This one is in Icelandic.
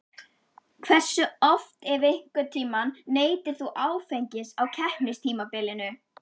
Hversu oft ef einhvern tíman neytir þú áfengis á keppnistímabilinu?